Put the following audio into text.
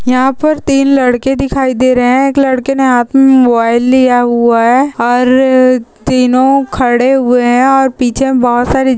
यहाँ पर तीन लड़के दिखाई दे रहे है। एक लडकेने हात मे मोबाइल लिया हुआ है और तीनों खड़े हुए है और पीछे बहुत सारी--